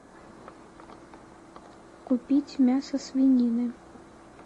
купить мясо свинины